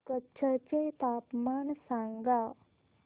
कच्छ चे तापमान सांगा